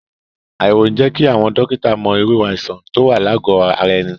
Àyẹ̀wò ń jẹ́ kí àwọn dọ́kítà mọ irú àìsàn tó wà lágọ̀ ara ẹni.